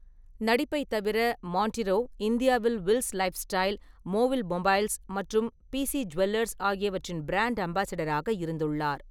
நடிப்பைத் தவிர, மான்டிரோ இந்தியாவில் வில்ஸ் லைஃப்ஸ்டைல், மோவில் மொபைல்ஸ் மற்றும் பிசி ஜுவல்லர்ஸ் ஆகியவற்றின் பிராண்ட் அம்பாசிடராக இருந்துள்ளார்.